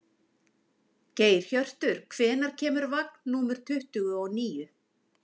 Geirhjörtur, hvenær kemur vagn númer tuttugu og níu?